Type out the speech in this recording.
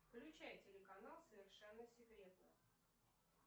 включай телеканал совершенно секретно